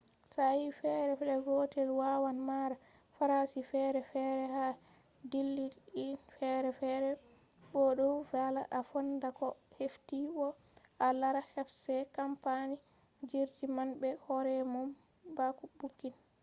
sa'i feere flait gootel waawan mara faraashi feere feere ha dillaali'en feere feere bo ɗo vallaa a foonda ko a hefti bo a laara websait kampani jirgi man be hoore mum bako buukin